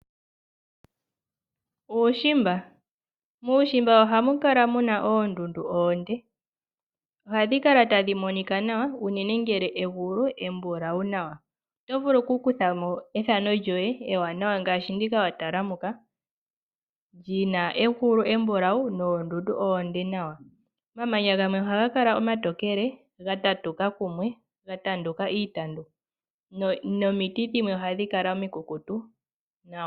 Muushimba ohamu kala muna oondundu oonde, ohadhi kala tadhi monika nawa unene ngele egulu embulawu nawa. Oto vulu kutha mo ethano lyoye ewanawa. Omamanya gamwe ohaga kala omatokele gatatuka kumwe gena iitandu nomiti dhimwe ohadhi kala omikukutu nawa.